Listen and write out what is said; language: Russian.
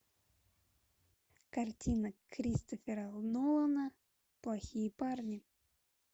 картина кристофера нолана плохие парни